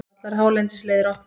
Allar hálendisleiðir opnar